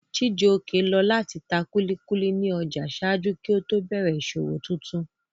Chijioke lọ láti ta kúlíkúlí ní ọjà ṣáájú kí ó tó bẹ̀rẹ̀ ìṣòwò tuntun